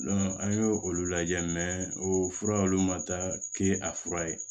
an y'o olu lajɛ o fura olu ma taa kɛ a fura ye